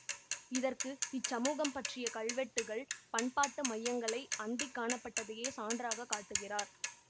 இதற்கு இச்சமூகம் பற்றிய கல்வெட்டுக்கள் பண்பாட்டு மையங்களை அண்டிக் காணப்பட்டதையே சான்றாக காட்டுகிறார்